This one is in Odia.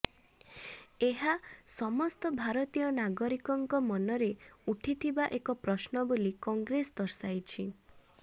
ଏହା ସମସ୍ତ ଭାରତୀୟ ନାଗରିକଙ୍କ ମନରେ ଉଠିଥିବା ଏକ ପ୍ରଶ୍ନ ବୋଲି କଂଗ୍ରେସ ଦର୍ଶାଇଛି